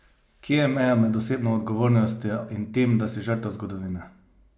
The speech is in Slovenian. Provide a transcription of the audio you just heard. Kje je meja med osebno odgovornostjo in tem, da si žrtev zgodovine?